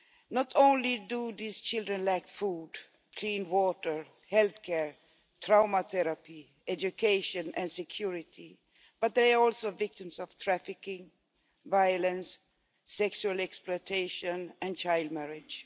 Not only do these children lack food, clean water, health care, trauma therapy, education and security, but they are also victims of trafficking, violence, sexual exploitation and child marriage.